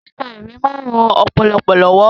Kíka ìwé máa ń ran ọpọlọ lọ́wọ́